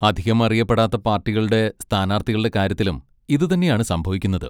അധികം അറിയപ്പെടാത്ത പാർട്ടികളുടെ സ്ഥാനാർത്ഥികളുടെ കാര്യത്തിലും ഇതുതന്നെയാണ് സംഭവിക്കുന്നത്.